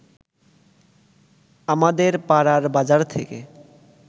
আমাদের পাড়ার বাজার থেকে